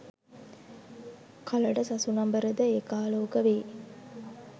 කලට සසුනඹර ද ඒකාලෝක වේ.